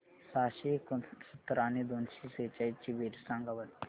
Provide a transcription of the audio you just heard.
सहाशे एकोणसत्तर आणि दोनशे सेहचाळीस ची बेरीज सांगा बरं